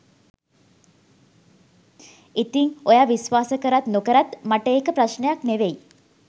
ඉතිං ඔයා විශ්වාස කරත් නොකරත් මට ඒක ප්‍රශ්නයක් නෙවෙයි